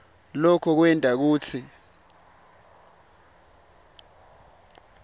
loko kwenta kutsi